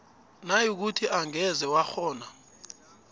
nayikuthi angeze wakghona